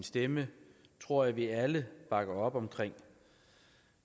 stemme tror jeg vi alle bakker op om